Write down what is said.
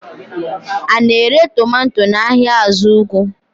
A na-ere tomato n'ahịa azugwu?